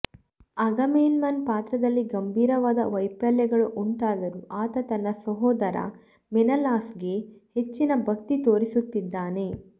ಅಗಾಮೆಮ್ನನ್ನ ಪಾತ್ರದಲ್ಲಿ ಗಂಭೀರವಾದ ವೈಫಲ್ಯಗಳು ಉಂಟಾದರೂ ಆತ ತನ್ನ ಸಹೋದರ ಮೆನೆಲಾಸ್ಗೆ ಹೆಚ್ಚಿನ ಭಕ್ತಿ ತೋರಿಸುತ್ತಿದ್ದಾನೆ